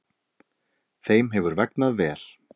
Þeim hefur vegnað vel.